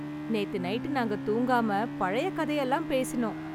நேத்து நைட்டு நாங்க தூங்காம பழைய கதை எல்லாம் பேசினோம்.